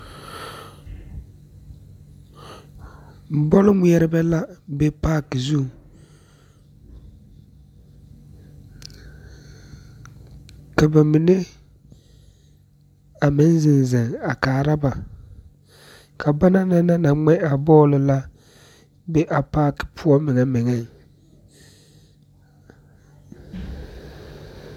Bɔlŋmɛrebɛ la be paŋ zu, ka ba mine be a be ziŋziŋ kaara ba, ka banaŋ naŋ na ŋmɛ a bɔli la be a paŋ poɔ megemege